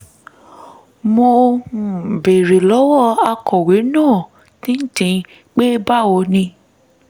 mo um béèrè lọ́wọ́ akọ̀wé náà pé báwo ni